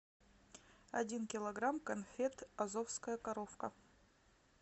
один килограмм конфет азовская коровка